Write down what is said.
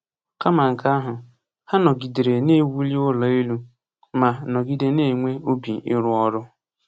Kama nke ahụ, ha “nọgidere na-ewuli ụlọ elu” ma “nọgide na-enwe obi ịrụ ọrụ”